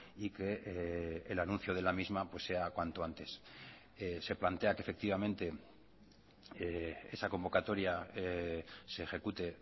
y que el anuncio de la misma sea cuanto antes se plantea que efectivamente esa convocatoria se ejecute